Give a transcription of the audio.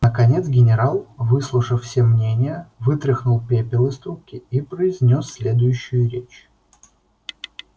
наконец генерал выслушав все мнения вытряхнул пепел из трубки и произнёс следующую речь